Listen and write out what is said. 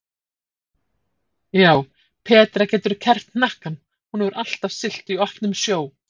Já, Petra getur kerrt hnakkann, hún hefur alltaf siglt í opnum sjó.